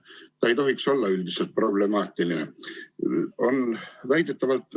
Aga see ei tohiks olla üldiselt problemaatiline.